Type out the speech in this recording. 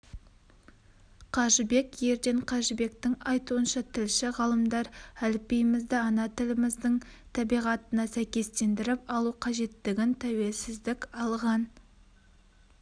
қажыбек ерден қажыбектің айтуынша тілші ғалымдар әліпбиімізді ана тіліміздің табиғатына сәйкестендіріп алу қажеттігін тәуелсіздік алған